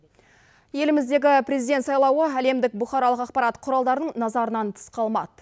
еліміздегі президент сайлауы әлемдік бұқаралық ақпарат құралдарынын назарданан тыс қалмады